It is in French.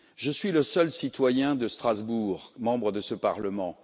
Je suis le seul citoyen de Strasbourg membre de ce Parlement.